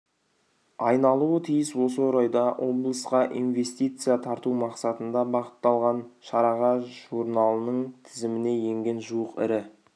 айналуы тиіс осы орайда облысқа инвестиция тарту мақсатында бағытталған шараға журналының тізіміне енген жуық ірі